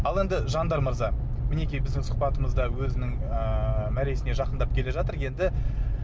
ал енді жандар мырза мінекей біздің сұхбатымыз да өзінің ыыы мәресіне жақындап келе жатыр енді